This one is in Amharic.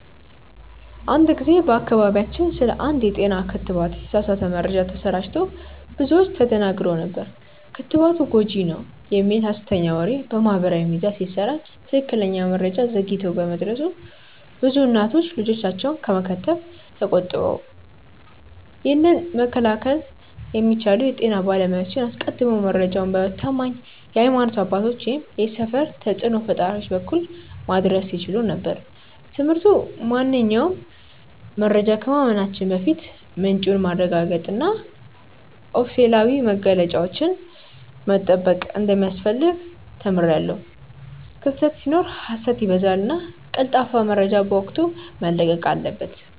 አንድ ጊዜ በአካባቢያችን ስለ አንድ የጤና ክትባት የተሳሳተ መረጃ ተሰራጭቶ ብዙዎች ተደናግረው ነበር። ክትባቱ ጎጂ ነው" የሚል ሀሰተኛ ወሬ በማህበራዊ ሚዲያ ሲሰራጭ ትክክለኛ መረጃ ዘግይቶ በመድረሱ ብዙ እናቶች ልጆቻቸውን ከመከተብ ተቆጠቡ። ይህንን መከላከል የሚቻለው የጤና ባለሙያዎች አስቀድመው መረጃውን በታማኝ የሀይማኖት አባቶች ወይም የሰፈር ተጽእኖ ፈጣሪዎች በኩል ማድረስ ሲችሉ ነበር። ትምህርቱ ማንኛውንም መረጃ ከማመናችን በፊት ምንጩን ማረጋገጥና ኦፊሴላዊ መግለጫዎችን መጠበቅ እንደሚያስፈልግ ተምሬያለሁ። ክፍተት ሲኖር ሀሰት ይበዛልና ቀልጣፋ መረጃ በወቅቱ መለቀቅ አለበት።